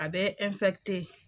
A bɛ .